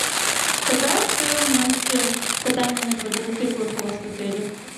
какая стоимость катания на квадроциклах у вас в отеле